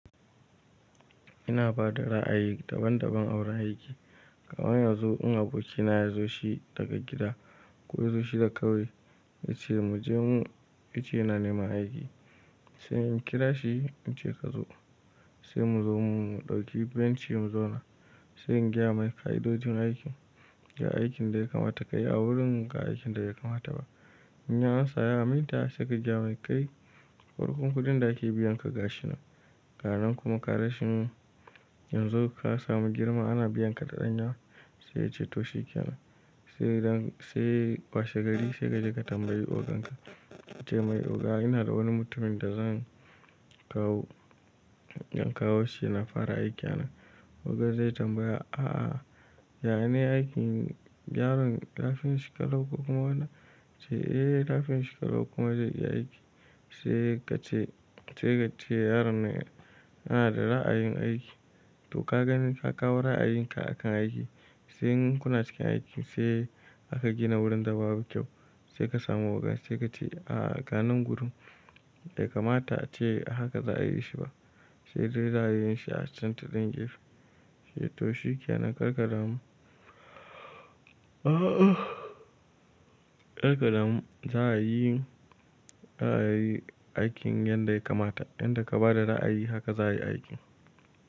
Ina bada ra'ayi daban daban aura aiki. Ga wani yanzu in aboki na ya zo shi daga gida ko ya zo shi da kawai, yace mu je mu, yace na nema aiki. Sai in kira shi, ince ka zo. Sai mu zo mu dauki bencin mu zauna. Sai in gaya mai ka'idojin aikin, ga aikin da ya kamata ka yi a wurin ga aikin da bai kamata ba. In ya amsa, ya aminta sai ka gaya mai kai farkon kuɗin da ake biyan ka ga shi nan. Garanin kuma ka rashi in zo ka samu girma ana biyan ka da ɗanya sai ya ce to shikenan. Sai zan-- sai washe gari sai kaje ka tambayi ogan ka. Ka ce mai oga ina da wani mutumin da zan kawo, in kawo shi na fara aiki a nan. Oga zai tambaya, a'a, yane aikin yaron lafin shi ka lawo kuma wana? Sai eh lafiyanshu shi kalau kuma zai iya aiki. Sai ka ce, sai ka ce yaron nan yana da ra'ayin aiki. To ka gani, ka kawo ra'ayinka akan aiki. Sai in kuna cikin aiki sai aka gina wurin da babu kyau. Sai ka samu oga sai ka ce a'a, ganan gurin bai kamata ce haka za a yi shi ba. Sai dai za a yi shi a can ta ɗan gefe. Sai to shikenan, karka damu karka damu za a yi, za a yi aikin yadda ya kamata. Yanda ka ba da ra'ayi haka za a yi aikin.